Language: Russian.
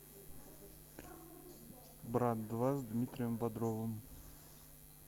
брат два с дмитрием бодровым